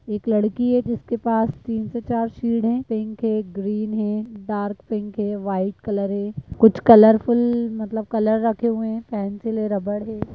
एक लड़की है जिसके पास तीन से चार शीट है पिंक है ग्रीन है डार्क पिंक है वाइट कलर है कुछ कलरफुल मतलब कलर रखे हुए है पेंसिल और रबड़ है।